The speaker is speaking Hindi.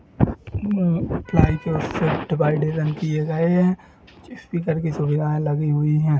म प्लाई के शिफ्ट बाई डिजाइन किये गए हैं स्पीकर की सुविधायें लगी हुई हैं।